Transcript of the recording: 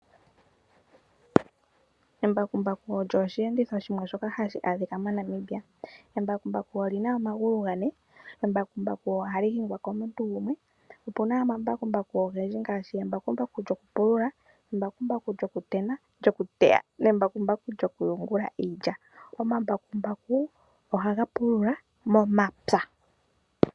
Embakumbaku olyo oshiyenditho shimwe shoka adhika mo Namibia. Embakumbaku olina omagulu gane . Embakumbaku ohali hingwa komuntu gumwe. Opena omambakumbaku ogendji ngaashi embakumbaku lyoku pulula, embakumbaku lyokuteya nembakumbaku lyoku yungula iilya. Omambakumbu ohaga pulula momapya.